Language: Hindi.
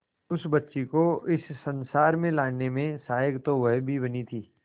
उस बच्ची को इस संसार में लाने में सहायक तो वह भी बनी थी